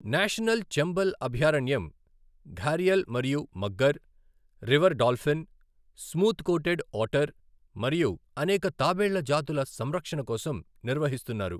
National Chambal అభయారణ్యం gharial మరియు mugger, river dolphin, smooth coated otter మరియు అనేక తాబేళ్ల జాతుల సంరక్షణ కోసం నిర్వహిస్తున్నారు.